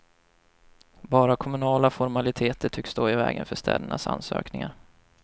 Bara kommunala formaliteter tycks stå i vägen för städernas ansökningar.